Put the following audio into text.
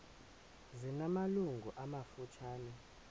zina malungu amafutshane